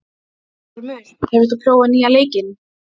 Ormur, hefur þú prófað nýja leikinn?